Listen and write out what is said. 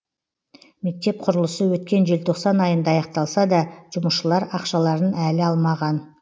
мектеп құрылысы өткен желтоқсан айында аяқталса да жұмысшылар ақшаларын әлі алмаған